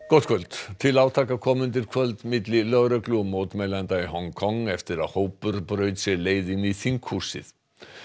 gott kvöld til átaka kom undir kvöld milli lögreglu og mótmælenda í Hong Kong eftir að hópur braut sér leið inn í þinghúsið